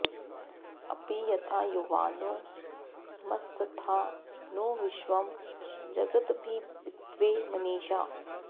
अपि यथा युवानो मत्सथा नो विश्वं जगदभिपित्वे मनीषा